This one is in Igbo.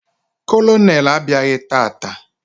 Kolonel abịaghị tata.